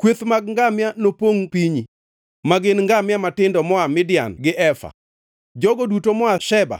Kweth mag ngamia nopongʼ pinyi, ma gin ngamia matindo moa Midian gi Efa. Jogo duto moa Sheba